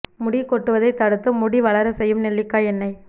முடி கொட்டுவதை தடுத்து முடி வளர செய்யும் நெல்லிக்காய் எண்ணெய்